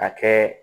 A kɛ